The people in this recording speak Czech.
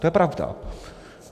To je pravda.